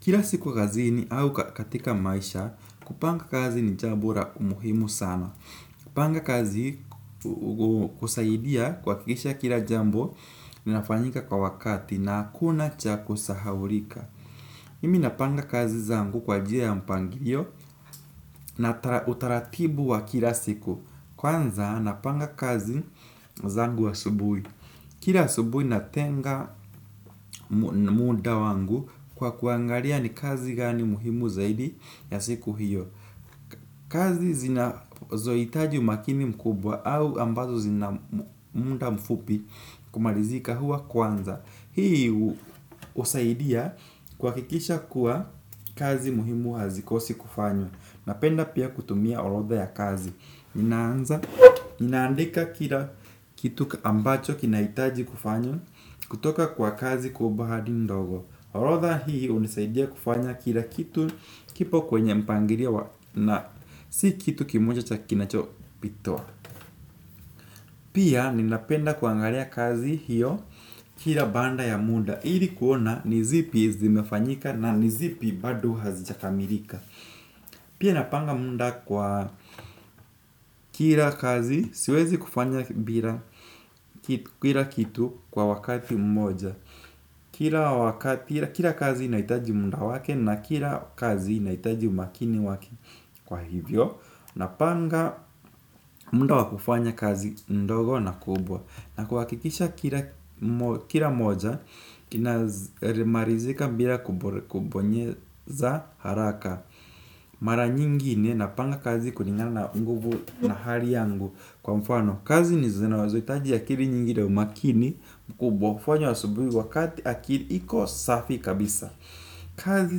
Kila siku kazini au katika maisha, kupanga kazi ni jambo la umuhimu sana. Kupanga kazi kusaidia kuhakikisha kila jambo, ninafanyika kwa wakati na hakuna cha kusahaulika. Mimi napanga kazi zangu kwa njia ya mpangilio na utaratibu wa kila siku. Kwanza napanga kazi zangu asubuhi. Kila asubuhi natenga muda wangu kwa kuangalia ni kazi gani muhimu zaidi ya siku hiyo. Kazi zinazohitaji umakini mkubwa au ambazo zina muda mfupi kumalizika huwa kwanza. Hii husaidia kuhakikisha kuwa kazi muhimu hazikosi kufanywa. Napenda pia kutumia orodha ya kazi. Ninaandika kila kitu ambacho kinahitaji kufanywa kutoka kwa kazi kubwa hadi ndogo. Orodha hii hunisaidia kufanya kila kitu kipo kwenye mpangilia na si kitu kimoja cha kinacho pitwa. Pia ninapenda kuangalia kazi hiyo kila baada ya muda ili kuona ni zipi zimefanyika na ni zipi bado hazijakamilika. Pia napanga muda kwa kila kazi siwezi kufanya bila kitu kwa wakati mmoja kila kazi inahitaji muda wake na kila kazi inahitaji umakini wake. Kwa hivyo napanga muda wa kufanya kazi ndogo na kubwa. Na kuhakikisha kila moja kinamalizika bila kubonyeza haraka. Mara nyingine napanga kazi kulingana na nguvu na hali yangu. Kwa mfano kazi ni zinazohitaji akili nyingi ndo makini mkubwa kufanywa asubuhi wakati akili iko safi kabisa. Kazi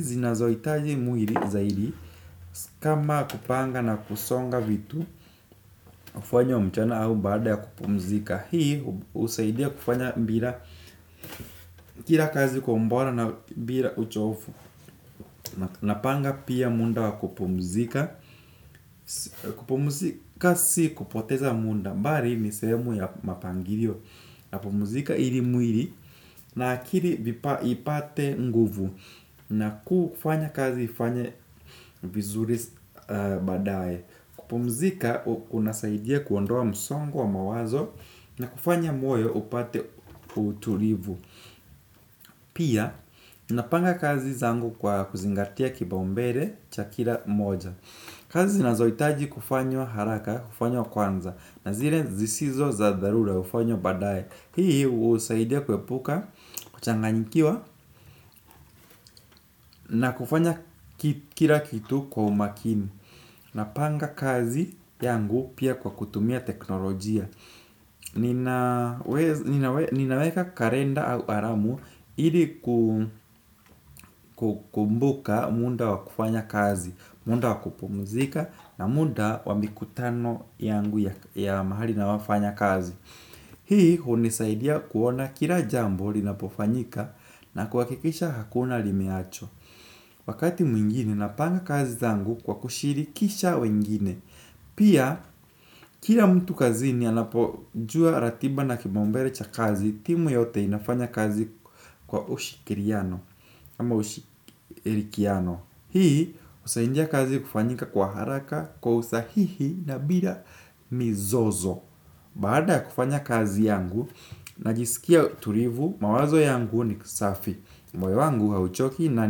zinazohitaji mwili zaidi kama kupanga na kusonga vitu kufanywa mchana au baada ya kupumzika. Hii husaidia kufanya bila kila kazi kwa ubora na bila uchofu. Napanga pia muda wa kupumzika. Kupumuzika si kupoteza muda bali ni sehemu ya mapangilio. Napumzika ili mwili na akili ipate nguvu. Na kufanya kazi ifanye vizuri baadae. Kupumzika unasaidia kuondoa msongo wa mawazo. Na kufanya moyo upate utulivu. Pia, napanga kazi zangu kwa kuzingatia kipaumbele cha kila mmoja. Kazi zinazohitaji kufanywa haraka, hufanywa kwanza. Na zile zisizo za dharura hufanywa baadaye. Hii husaidia kuepuka, kuchanganyikiwa na kufanya kila kitu kwa umakini. Napanga kazi yangu pia kwa kutumia teknolojia. Ninaweka kalenda au alamu ili ku kumbuka muda wa kufanya kazi. Muda wa kupumzika na muda wa mikutano yangu ya mahali ninayofanya kazi. Hii hunisaidia kuona kila jambo linapofanyika na kuhakikisha hakuna limeachwa. Wakati mwingine napanga kazi zangu kwa kushirikisha wengine. Pia kila mtu kazini anapojua ratiba na kipaumbele cha kazi timu yote inafanya kazi kwa ushikiriano ama ushirikiano. Hii husaidia kazi kufanyika kwa haraka kwa usahihi na bila mizozo. Baada ya kufanya kazi yangu najiskia tulivu mawazo yangu nikusafi. Moyo wangu hauchoki na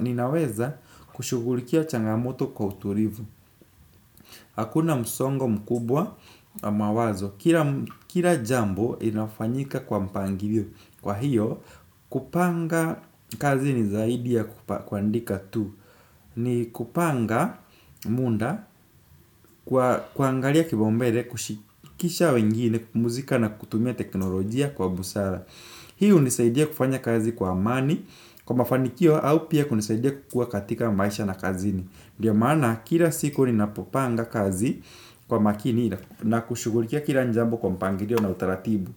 ninaweza kushughulikia changamoto kwa utulivu. Hakuna msongo mkubwa wa mawazo. Kila jambo inafanyika kwa mpangili. Kwa hiyo kupanga kazi ni zaidi ya kuandika tu. Ni kupanga muda kuangalia kipaumbele kushikisha wengine kupumzika na kutumia teknolojia kwa busara. Hii hunisaidia kufanya kazi kwa amani kwa mafanikio au pia kunisaidia kukua katika maisha na kazini. Ndiyo maana kila siku ninapopanga kazi kwa makini na kushughulikia kila jambo kwa mpangilio na utaratibu.